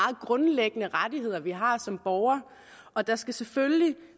grundlæggende rettigheder vi har som borgere og der skal selvfølgelig